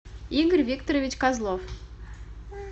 игорь викторович козлов